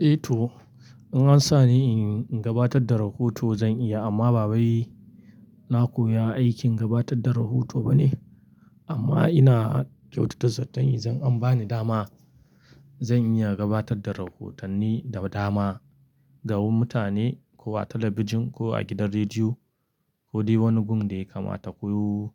Eh to, in an sa ni in gabatar da rahoto zan iya amma bawai na ko ya aikin gabatar da rahoto bane. Amma ina kyautata zaton in zan an ba ni dama zan iya gabatar da rahotanni da dama domin mutane ko a talabijin ko a gidan rediyo ko dai wani gun daya kama taku